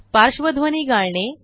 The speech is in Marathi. पार्श्वध्वनी गाळणे